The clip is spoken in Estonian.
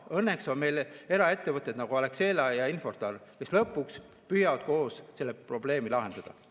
Õnneks on meil eraettevõtted, nagu Alexela ja Infortar, kes lõpuks püüavad koos selle probleemi lahendada.